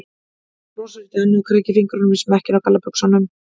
Hún brosir út í annað og krækir fingrum í smekkinn á gallabuxunum.